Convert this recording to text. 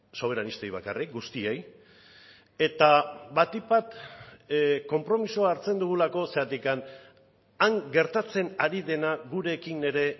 soberanistei bakarrik guztiei eta batik bat konpromisoa hartzen dugulako zergatik han gertatzen ari dena gurekin ere